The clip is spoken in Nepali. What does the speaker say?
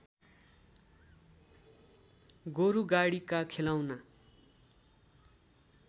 गोरुगाडीका खेलौना